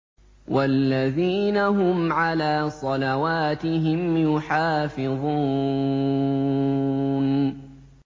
وَالَّذِينَ هُمْ عَلَىٰ صَلَوَاتِهِمْ يُحَافِظُونَ